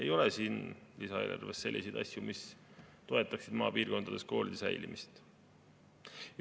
Ei ole siin lisaeelarves selliseid asju, mis toetaksid maapiirkondades koolide säilimist.